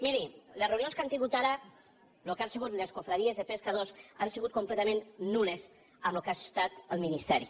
miri les reunions que han tingut ara el que han sigut les confraries de pescadors han sigut completament nulles amb el que ha estat el ministeri